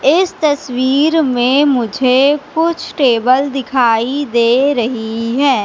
इस तस्वीर में मुझे कुछ टेबल दिखाई दे रही है।